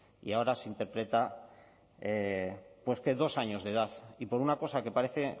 y ahora se interpreta pues que dos años de edad y por una cosa que parece